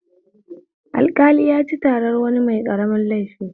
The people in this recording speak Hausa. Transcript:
Alƙali yaci taran wani mai ƙaramin laifi